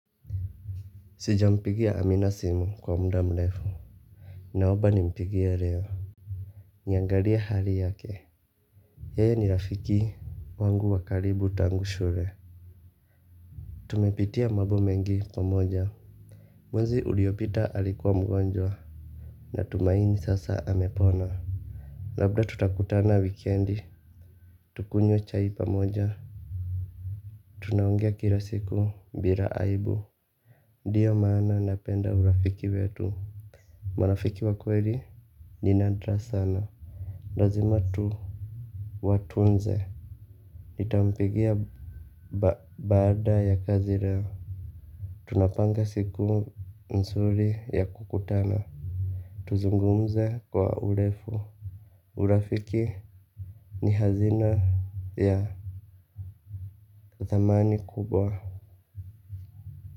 Sijampigia amina simu kwa mda mlefu. Naoba ni mpigia leo. Niyangalia hali yake yeye ni rafiki wangu wakaribu tangu shure. Tumepitia mabo mengi pamoja. Mwezi uliopita alikuwa mgonjwa. Na tumaini sasa amepona labda tutakutana wikendi tukunywe chai pamoja. Tunaongea kila siku mbira aibu. Ndiyo maana napenda urafiki wetu. Marafiki wakweli. Ninadra sana. Lazima tu watunze nitampigia baada ya kazi leo. Tunapanga siku nzuri ya kukutana tuzungumze kwa urefu urafiki ni hazina ya dhamani kubwa.